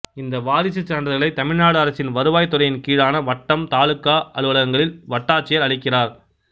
இந்த வாரிசுச் சான்றிதழ்களை தமிழ்நாடு அரசின் வருவாய்த் துறையின் கீழான வட்டம் தாலுகா அலுவலகங்களில் வட்டாட்சியர் அளிக்கிறார்